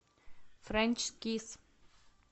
френч кисс